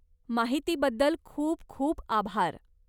माहितीबद्दल खूप खूप आभार.